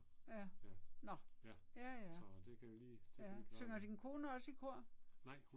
Ja. Nåh. Ja ja. Ja. Synger din kone også i kor?